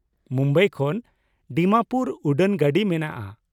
ᱢᱩᱢᱵᱟᱭ ᱠᱷᱚᱱ ᱰᱤᱢᱟᱯᱩᱨ ᱩᱰᱟᱹᱱ ᱜᱟᱹᱰᱤ ᱢᱮᱱᱟᱜᱼᱟ ᱾